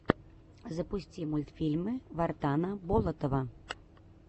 запусти мультфильмы вартана болотова